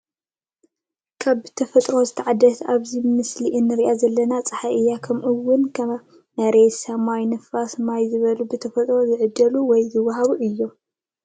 ካብ ብተፈጥሮ ዝተዓደለ ኣብዚ ምስሎ እንሪኣ ዘለና ፀሓይ እያ። ከምኡ ውን ከም መሬት ሰማይ፣ ንፋስ ፣ማይ ዝበሉ ብፈጣሪ ዝዓደለ ውይ ዝተወሃበ እዩ።